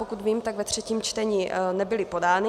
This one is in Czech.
Pokud vím, tak ve třetím čtení nebyly podány.